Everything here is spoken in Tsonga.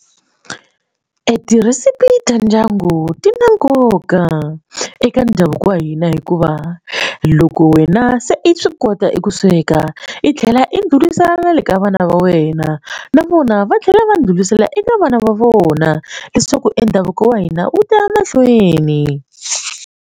Ti-recipe ta ndyangu ti na nkoka eka ndhavuko wa hina hikuva loko wena se i swi kota eku sweka i tlhela i burisana na le ka vana va wena na vona va tlhela va ndlhurisela eka vana va vona leswaku e ndhavuko wa hina wu ta ya mahlweni.